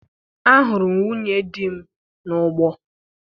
Ahụrụ m nwunye di m n'ugbo